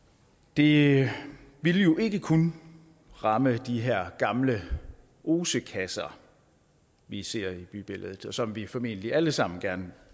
det vil jo ikke kun ramme de her gamle osekasser vi ser i bybilledet og som vi formentlig alle sammen gerne